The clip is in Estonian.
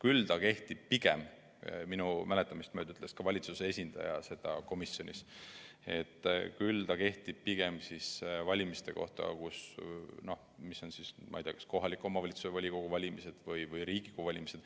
Aga see kehtib pigem – minu mäletamist mööda ütles seda komisjonis ka valitsuse esindaja – selliste valimiste kohta, mis on näiteks kohaliku omavalitsuse volikogu valimised või Riigikogu valimised.